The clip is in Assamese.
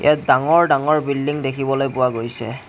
ইয়াত ডাঙৰ ডাঙৰ বিল্ডিঙ দেখিবলৈ পোৱা গৈছে।